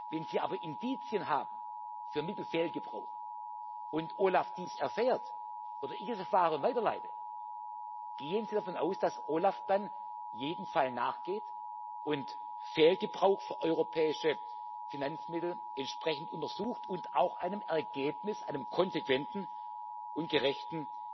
Wenn Sie aber Indizien haben für Mittelfehlgebrauch und OLAF dies erfährt oder ich es erfahre und weiterleite Gehen Sie davon aus, dass OLAF dann jedem Fall nachgeht und Fehlgebrauch für europäische Finanzmittel entsprechend untersucht und es auch einem konsequenten und gerechten